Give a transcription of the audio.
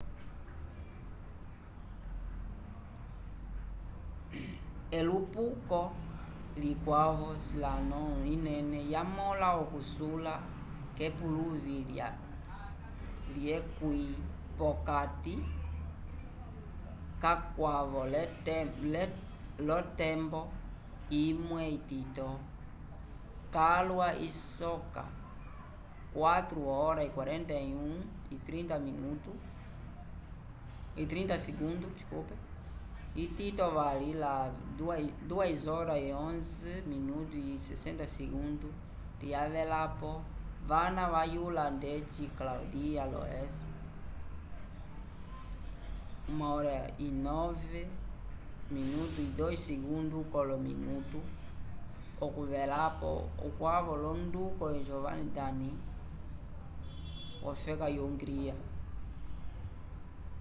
elupuko likwavo slalom inene yamõla okusula k’epuluvi lyekwĩ p’okati k’akwavo l’otembo imwe itito calwa isoka 4:41.30 itito vali la 2:11.60 lyavelapo vana vayula ndeci claudia loesh 1:09.02 k’olominutu okuvelapo ukwavo l’onduko gyöngyi dani wofeka yo-hungria